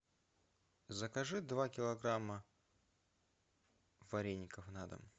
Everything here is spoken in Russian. закажи два килограмма вареников на дом